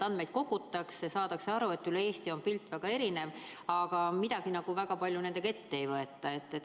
Andmeid kogutakse ja saadakse aru, et üle Eesti on pilt väga erinev, aga väga midagi nendega ette ei võeta.